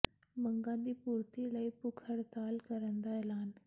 ਮੰਗਾਂ ਦੀ ਪੂਰਤੀ ਲਈ ਭੁੱਖ ਹੜਤਾਲ ਕਰਨ ਦਾ ਐਲਾਨ